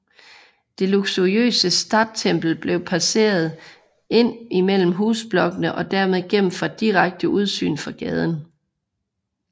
Det luxuriøse Stadttempel blev passet ind mellem husblokkene og dermed gemt fra direkte udsyn fra gaden